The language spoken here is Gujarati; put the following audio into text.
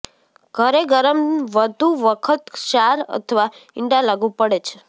ઘરે ગરમ વધુ વખત ક્ષાર અથવા ઇંડા લાગુ પડે છે